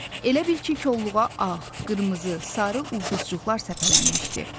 Elə bil ki, kolluğa ağ, qırmızı, sarı ulduzcuqlar səpələnmişdi.